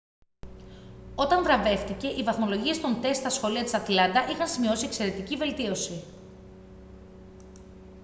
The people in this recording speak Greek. όταν βραβεύτηκε οι βαθμολογίες των τεστ στα σχολεία της ατλάντα είχαν σημειώσει εξαιρετική βελτίωση